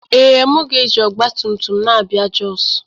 Ee, m ga-eji ọgba tum tum na-abịa Jos